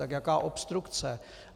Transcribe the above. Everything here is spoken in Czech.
Tak jaká obstrukce?